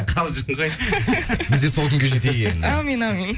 қалжың ғой біз де сол күнге жетейік енді әумин әумин